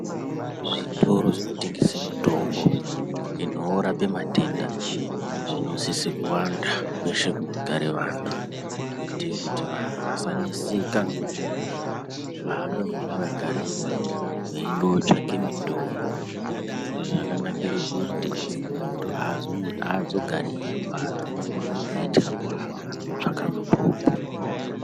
Zvitoro zvinotengese mitombo inorape matenda zvinosise kuwanda kwese kunogare vantu. Kuitire kuti vantu vasaneseka ngekuhambe mimango yakareba veindo tsvake mitombo. Izvi zvakanakire kuti muntu haazogari eirwara eitwa kuhamba kotsvake mitombo.